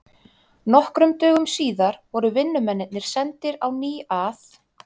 Nokkrum dögum síðar voru vinnumennirnir sendir á ný að